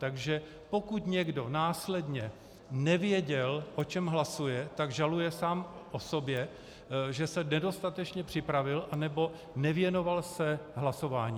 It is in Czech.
Takže pokud někdo následně nevěděl, o čem hlasuje, tak žaluje sám o sobě, že se nedostatečně připravil nebo nevěnoval se hlasování.